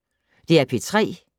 DR P3